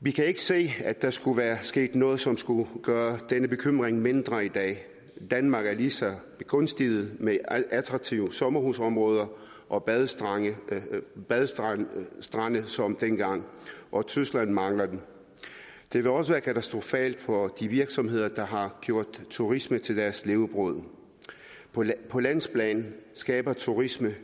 vi kan ikke se at der skulle være sket noget som skulle gøre denne bekymring mindre i dag danmark er lige så begunstiget med attraktive sommerhusområder og badestrande badestrande som dengang og tyskland mangler dem det vil også være katastrofalt for de virksomheder der har gjort turisme til deres levebrød på landsplan skaber turisme